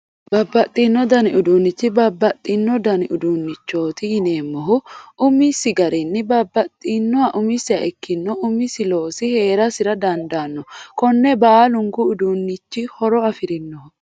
Babbaxxino dani uduunnicho babbaxxino dani uduunnichooti yineemohu su'misi garinni babbaxxxinohu umisiha ikkinohu umisi loosi heerasir dandaanno konni baalunku uduunnichi horo afirinoho